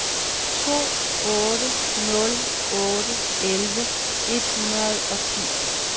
to otte nul otte elleve et hundrede og ti